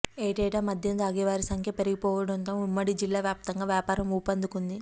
ఏటేటా మద్యం తాగేవారి సంఖ్య పెరిగిపోతుండటంతో ఉమ్మడి జిల్లావ్యాప్తంగా వ్యాపారం ఊపందుకుంది